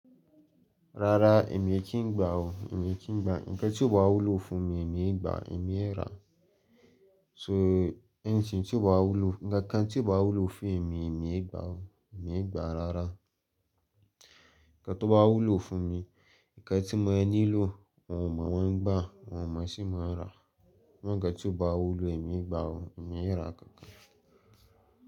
Rárá èmi ẹ kí ń gbà ó, èmi ẹ kí ń gbà. Ǹkan tí ó bá wúlò fún mi èmi ẹ gbà, èmi ẹ rà. So anything tí ó bá wúlò, ńkankan tí ó bá wúlò fún èmi, èmi ẹ gbà ó, èmi ẹ gbà rárá. Ǹkan tó bá wúlò fún mi, ǹkan tí mo lẹni lò, oun mọ mọ́n ń gbà, ọ́un mọ sí máa rà. Ǹkan tí ó bá wúlò èmi ẹ gbà ó, èmi ẹ rà kankan.